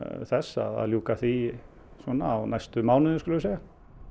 þess að ljúka því svona á næstu mánuðum skulum við segja